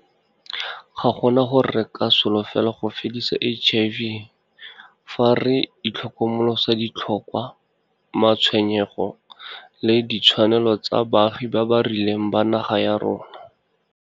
Ga gona gore re ka solofela go fedisa HIV fa re itlhokomolosa ditlhokwa, matshwenyego le ditshwanelo tsa baagi ba ba rileng ba naga ya rona.